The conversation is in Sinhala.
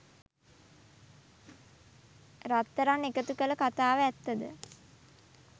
රත්රන් එකතු කළ කතාව ඇත්ත ද?